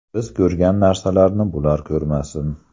Biz ko‘rgan narsalarni bular ko‘rmasin.